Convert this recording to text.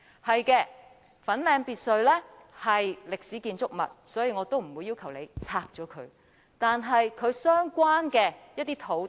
不錯，粉嶺別墅是歷史建築物，所以我也不會要求拆卸它，但其相關的土地卻厲害了。